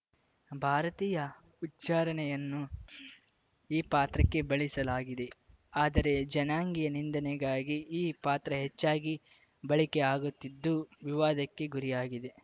ಭಾರತೀಯ ಉಚ್ಚಾರಣೆಯನ್ನು ಈ ಪಾತ್ರಕ್ಕೆ ಬಳಸಲಾಗಿದೆ ಆದರೆ ಜನಾಂಗೀಯ ನಿಂದನೆಗಾಗಿ ಈ ಪಾತ್ರ ಹೆಚ್ಚಾಗಿ ಬಳಕೆಯಾಗುತ್ತಿದ್ದು ವಿವಾದಕ್ಕೆ ಗುರಿಯಾಗಿದೆ